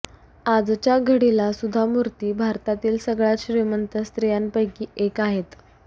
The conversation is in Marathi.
आजच्या घडीला सुधा मूर्ती भारतातील सगळ्यात श्रीमंत स्त्रियांपेकी एक आहेत